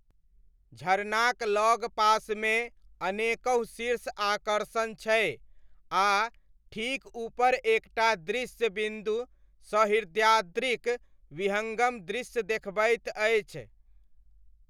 झरनाक लगपासमे अनेकहु शीर्ष आकर्षण छै आ ठीक ऊपर एक टा दृश्य बिन्दु सह्याद्रिक विहङ्गम दृश्य देखबैत अछि।